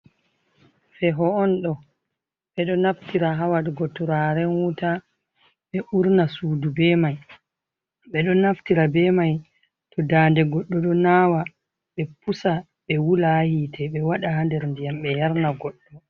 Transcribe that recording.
Feho on ɗo. Ɓeɗo naftira ha waɗugo turaren wuta ɓe urna sudu be mai. Ɓeɗo naftira be mai to daande goɗɗo ɗo nawa ɓe pusa ɓe wula ha hite ɓe waɗa nder ndiyam ɓe yarna goɗɗo.